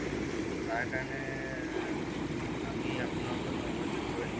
তাৰ কাৰণে এৰ আমি আপোনাৰ ওচৰত ক্ষমা যোগ্যই